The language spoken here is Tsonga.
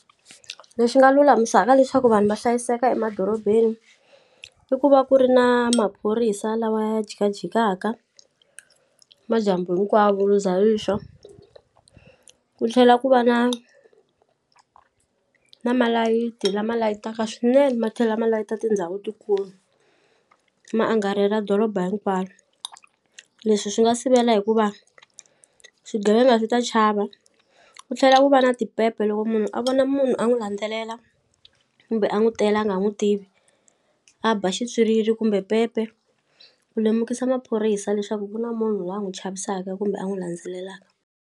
Lexi nga lulamisaka leswaku vanhu va hlayiseka emadorobeni i ku va ku ri na maphorisa lawa ya jikajikaka madyambu hinkwawo ri za rixa ku tlhela ku va na na malayiti lama layitaka swinene ma tlhela ma layita tindhawu tikulu ma angarela doroba hinkwaro leswi swi nga sivela hikuva swigevenga swi ta chava ku tlhela ku va na tipepe loko munhu a vona munhu a n'wu landzelela kumbe a n'wu tela a nga n'wu tivi a ba ximpyiriri kumbe pepe ku lemukisa maphorisa leswaku ku na munhu wa n'wu chavisaka kumbe a n'wu landzelelaka.